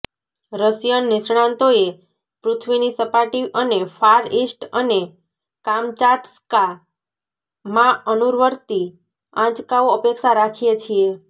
Russian નિષ્ણાતોએ પૃથ્વીની સપાટી અને ફાર ઇસ્ટ અને કામચાટ્કા માં અનુવર્તી આંચકાઓ અપેક્ષા રાખીએ છીએ